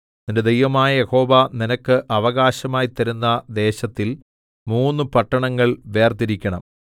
നിന്റെ ദൈവമായ യഹോവ നിനക്ക് അവകാശമായി തരുന്ന ദേശത്തിൽ മൂന്ന് പട്ടണങ്ങൾ വേർതിരിക്കണം